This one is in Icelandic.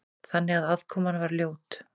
Þannig að aðkoman var ljót.